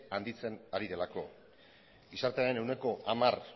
handitzen ari delako gizartearen ehuneko hamar